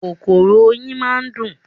Kòkòrò oyin máa ń kùn.